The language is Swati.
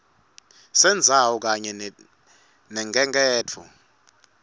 sendzawo kanye nelukhenkhetfo